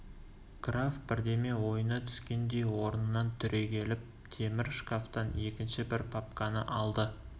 граф бірдеме ойына түскендей орнынан түрегеліп темір шкафтан екінші бір папканы алды